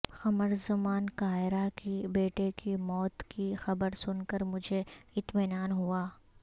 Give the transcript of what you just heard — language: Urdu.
قمر زمان کائرہ کی بیٹے کی موت کی خبر سن کر مجھے اطمینان ہوا